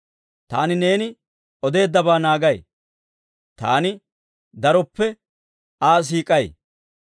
Taani neeni odeeddabaa naagay; taani daroppe Aa siik'ay.